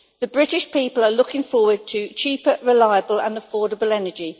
The British people are looking forward to cheaper, reliable and affordable energy.